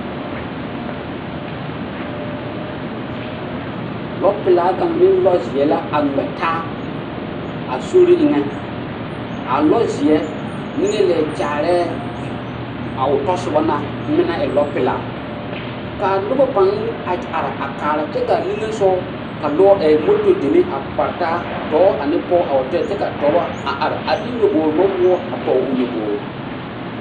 Lɔ pelaa kaŋ ne lɔ zeɛ la a ngmɛ taa a sori eŋɛ a lɔ zeɛ niŋe leɛ kyaarɛɛ a o tɔsobɔ na meŋ na e lɔ pelaa kaa nobɔ paŋ a are kaara kyɛ kaa niŋesugɔ ka lɔ ɛɛ moto deme a kpare taa dɔɔ ane pɔɔ a wa kyɛnɛ kyɛ ka dɔbɔ a are a de nyoboge nɔwoɔ a pɔge l nyobogre.